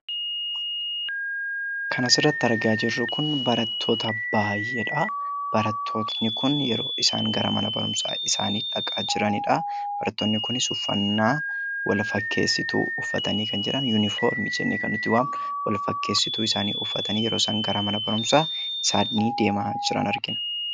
Kan asirratti argaa jirru kun barattoota baay'eedha. Barattoonni kun yeroo isaan mana barumsaa isaanii dhaqaa jiranidha. Barattoonni kunis uffannaa wal fakkeessituu uffatanii kan jiran 'yuunifoormii' jennee kan nuti waamnu wal fakkeessituu isaanii uffatanii, yeroo isaan gara mana barumsaa isaanii deemaa jiran argina.